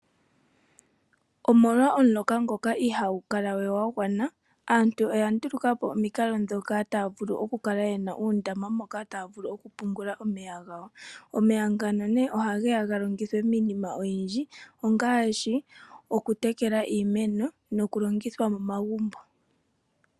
Omolwa omuloka ngoka ihaagu kala we gwa gwana, aantu oya ndulukapo omikalo ndhoka taya vulu okukala yena uundama woku pungula omeya gawo. Omeya ngano nee ohageya ga longithwe miinima oyindji ngaashi, okutekela iimeno noku longitha momagumbo.